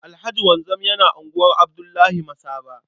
Alhaji Wanzam yana unguwar Abdullahi Masaba.